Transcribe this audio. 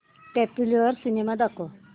popular cinema दाखव